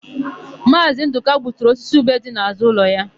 Maazị Ndụka gbuturu osisi ube dị n'ụlọ ya.